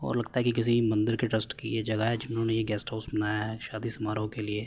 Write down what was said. और लगता है कि किसी मंदिर के ट्रस्ट की ये जगह है जिन्होंने यह गेस्ट हाउस बनाया है शादी समारोह के लिए।